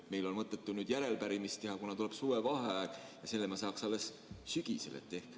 Meil on mõttetu nüüd järelepärimist teha, kuna tuleb suvevaheaeg ja vastuse me saaksime alles sügisel.